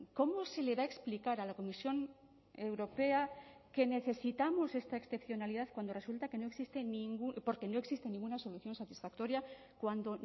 cómo se le va a explicar a la comisión europea que necesitamos esta excepcionalidad cuando resulta que no existe ninguna porque no existe ninguna solución satisfactoria cuando